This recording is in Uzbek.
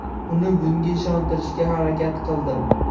Uni bunga ishontirishga harakat qildim.